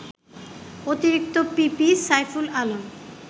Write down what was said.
অতিরিক্ত পিপি সাইফুল আলম